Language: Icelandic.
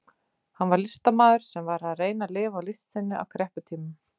Hann var listamaður, sem var að reyna að lifa á list sinni á krepputímum.